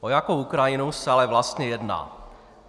O jakou Ukrajinu se ale vlastně jedná?